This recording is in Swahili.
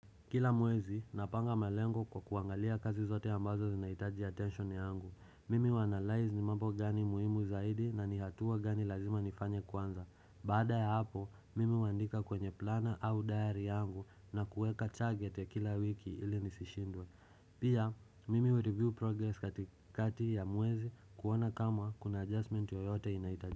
Kila mwezi, napanga malengo kwa kuangalia kazi zote ambazo zinaitaji attention yangu. Mimi huanalyze ni mambo gani muhimu zaidi na ni hatua gani lazima nifanye kwanza. Baada ya hapo, mimi uandika kwenye plana au diary yangu na kuweka target ya kila wiki ili nisishindwe. Pia, mimi ureview progress katikati ya mwezi kuona kama kuna adjustment yoyote inaitaji.